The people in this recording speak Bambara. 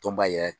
Tɔnba yɛrɛ